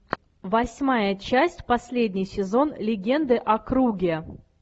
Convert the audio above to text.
восьмая часть последний сезон легенды о круге